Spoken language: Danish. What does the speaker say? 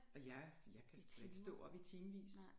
Og jeg jeg kan sgu da ikke stå op i timevis